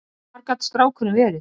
Hvar gat strákurinn verið?